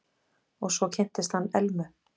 Og svo kynntist hann Elmu.